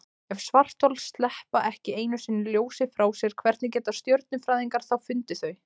Ef svarthol sleppa ekki einu sinni ljósi frá sér, hvernig geta stjörnufræðingar þá fundið þau?